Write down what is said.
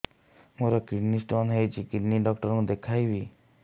ମୋର kidney stone ହେଇଛି kidney doctor କୁ ଦେଖାଇବି